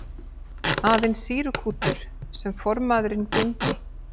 Aðeins sýrukútur sem formaðurinn geymdi.